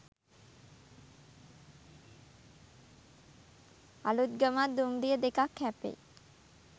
අලුත්ගමත් දුම්රිය දෙකක් හැපෙයි